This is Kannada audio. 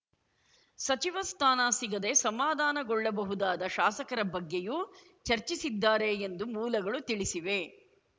ಸಚಿವ ಸ್ಥಾನ ಸಿಗದೆ ಸಮಾಧಾನಗೊಳ್ಳಬಹುದಾದ ಶಾಸಕರ ಬಗ್ಗೆಯೂ ಚರ್ಚಿಸಿದ್ದಾರೆ ಎಂದು ಮೂಲಗಳು ತಿಳಿಸಿವೆ